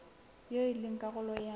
eo e leng karolo ya